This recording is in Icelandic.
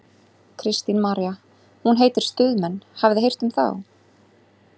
Kristín María: Hún heitir Stuðmenn, hafið þið heyrt um þá?